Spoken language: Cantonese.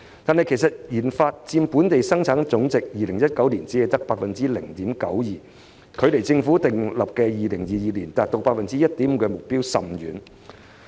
然而 ，2019 年研發開支只佔本地生產總值 0.92%， 與政府訂立在2022年達到 1.5% 的目標相距甚遠。